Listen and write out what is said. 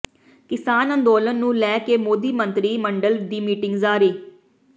ਕਿਸਾਨ ਅੰਦੋਲਨ ਨੂੰ ਲੈ ਕੇ ਮੋਦੀ ਮੰਤਰੀ ਮੰਡਲ ਦੀ ਮੀਟਿੰਗ ਜਾਰੀ